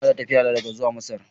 Ina dawowa daga tafiyata zuwa Masar.